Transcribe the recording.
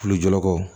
Kulujɔko